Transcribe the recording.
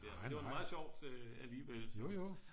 det var meget sjovt alligevel